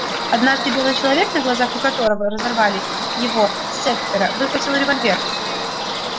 однажды белый человек на глазах у которого разорвали его сеттера выхватил револьвер